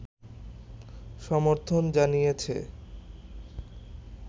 সর্মথন জানিয়েছে